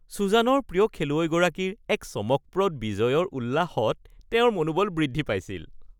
চুজানৰ প্ৰিয় খেলুৱৈগৰাকীৰ এক চমকপ্ৰদ বিজয়ৰ উল্লাসত তেওঁৰ মনোবল বৃদ্ধি পাইছিল